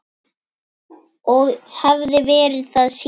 Og hef verið það síðan.